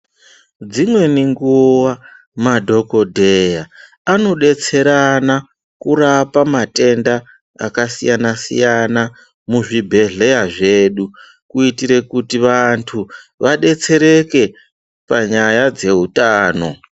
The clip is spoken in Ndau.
Dzimweni nguva madhogodheya anobetserana kurapa matenda akasiyana-siyana, muzvibhedhleya zvedu. Kuitire kuti vantu vabetsereke panyaya dzehutano.